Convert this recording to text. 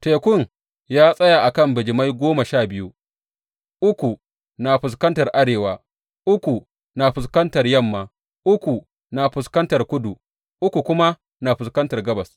Tekun ya tsaya a kan bijimai goma sha biyu, uku na fuskantar arewa, uku na fuskantar yamma, uku na fuskantar kudu, uku kuma na fuskantar gabas.